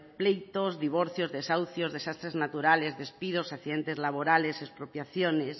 pleitos divorcios desahucios desastres naturales despidos accidentes laborales expropiaciones